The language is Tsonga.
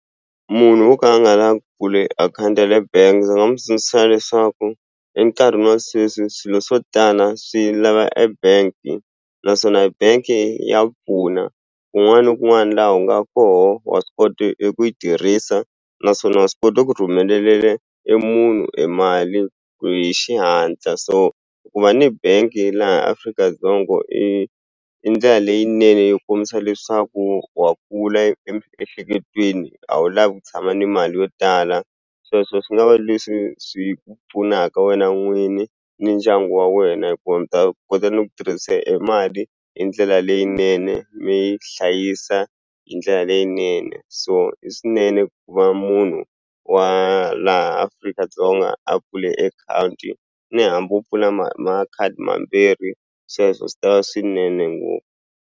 Munhu wo ka a nga la ku pfule akhawunti ya le bangi ndzi nga mu tsundzuxa leswaku e nkarhini wa sweswi swilo swo tala swi lava e bank naswona bank ya pfuna kun'wana ni kun'wana laha u nga koho wa swi kota i ku yi tirhisa naswona wa swi kota ku e munhu e mali hi xihatla so ku va ni bank-i laha Afrika-Dzonga i i ndlela leyinene yo kombisa leswaku wa kula emiehleketweni a wu lavi ku tshama ni mali yo tala sweswo swi nga va leswi swi pfunaka wena n'wini ni ndyangu wa wena hikuva mi ta kota ni ku tirhisa e mali hi ndlela leyinene mi yi hlayisa hi ndlela leyinene so i swinene ku va munhu wa laha Afrika-Dzonga a pfule ni hambi u pfula makhadi mambirhi sweswo swi ta swinene ngopfu.